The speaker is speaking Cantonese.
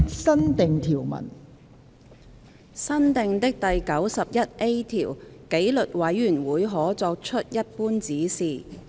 新訂的第 91A 條紀律委員會可作出一般指示。